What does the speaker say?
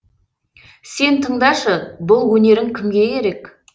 сен тыңдашы бұл өнерің кімге керек